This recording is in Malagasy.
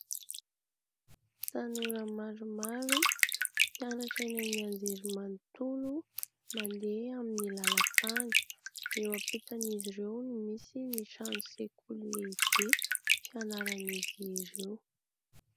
Tanora maromaro mpianatra eny amin'ny anjerimanontolo mandeha amin'ny lalana tany. Eo ampitan'izy ireo no misy ny trano sekoly lehibe fianaran'izy ireo.